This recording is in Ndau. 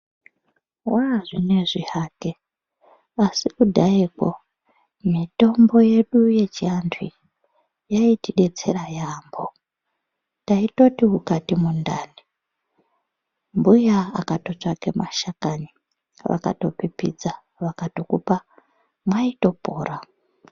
Wazvinoizvi hake asikudhayeko ,mitombo yedu yechiantu iyi yaiti betsera yabho, taitoti ukati mudhani ,mbuya akatotsvaga mashakani vakatopipidza vakatokupa mwaitopora.